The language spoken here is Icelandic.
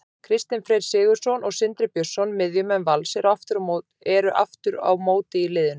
Kristinn Freyr Sigurðsson og Sindri Björnsson, miðjumenn Vals, eru aftur á móti í liðinu.